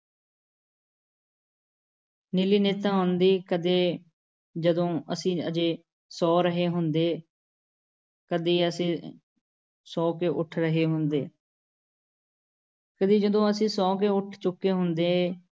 ਨੀਲੀ ਨਿੱਤ ਆਉਂਦੀ। ਕਦੇ ਜਦੋਂ ਅਸੀਂ ਅਜੇ ਸੌਂ ਰਹੇ ਹੁੰਦੇ । ਕਦੀ ਜਦੋਂ ਅਸੀਂ ਸੌ ਕੇ ਉੱਠ ਰਹੇ ਹੁੰਦੇ । ਕਦੀ ਜਦੋਂ ਅਸੀਂ ਸੌਂ ਕੇ ਉੱਠ ਚੁੱਕੇ ਹੁੰਦੇ ।